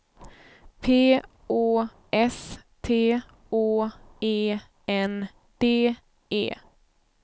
P Å S T Å E N D E